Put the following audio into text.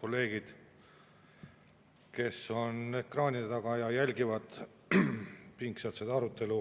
Kolleegid, kes on ekraanide taga ja jälgivad pingsalt seda arutelu